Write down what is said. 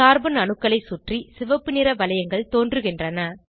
carbon அணுக்களை சுற்றி சிவப்பு நிற வளையங்கள் தோன்றுகின்றன